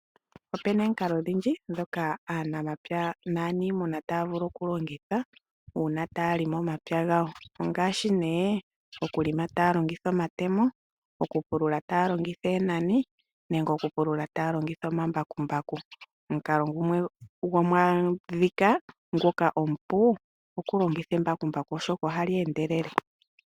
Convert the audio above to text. Opuna omikalo odhindji ndhoka aanamapya naaniimuna taya vulu okulongitha okulonga omapya gawo. Ngaashi okulonga taya longitha omatemo, okupulula taya longitha oonani nosho wo okupulula taya longitha omambakumbaku. Omukalo omupu okulongitha embakumbaku oshoka ohali endelele.